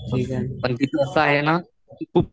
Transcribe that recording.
आहे ना ती खूप